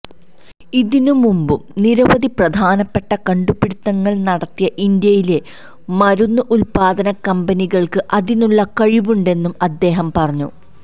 ഇതിന് മുമ്പും നിരവധി പ്രധാനപ്പെട്ട കണ്ടുപിടുത്തങ്ങൾ നടത്തിയ ഇന്ത്യയിലെ മരുന്ന് ഉത്പാദന കമ്പനികൾക്ക് അതിനുള്ള കഴിവുണ്ടെന്നും അദ്ദേഹം പറഞ്ഞു